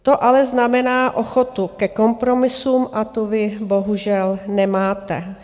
To ale znamená ochotu ke kompromisům, a tu vy bohužel nemáte.